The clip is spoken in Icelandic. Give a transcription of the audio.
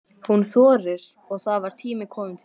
Hún þorir og það var tími kominn til.